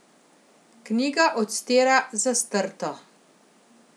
Knjiga odstira zastrto.